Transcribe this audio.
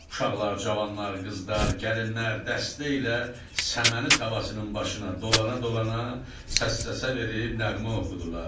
Uşaqlar, cavanlar, qızlar, gəlinlər dəstə ilə səməni tavasının başına dolana-dolana səs-səsə verib nəğmə oxudular.